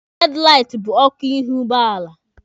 Hedlaiti bụ ọkụ ihu ụgbọala.